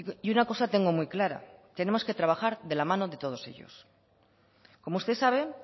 y una cosa tengo muy clara tenemos que trabajar de la mano de todos ellos como usted sabe